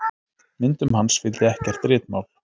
Myndum hans fylgdi ekkert ritmál.